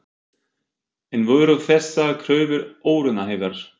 En voru þessar kröfur óraunhæfar?